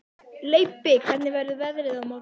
Leibbi, hvernig verður veðrið á morgun?